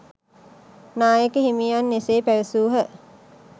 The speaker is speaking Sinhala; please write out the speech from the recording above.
නායක හිමියන් එසේ පැවසූහ